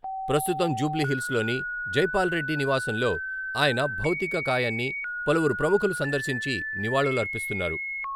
ప్రస్తుతం జూబ్లీ హిల్స్ లోని జైపాల్ రెడ్డి నివాసంలో ఆయన భౌతిక కాయాన్ని పలువురు ప్రముఖులు సందర్శించి నివాళులర్పిస్తున్నారు.